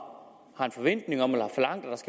en forventning om eller